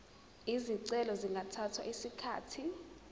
izicelo zingathatha isikhathi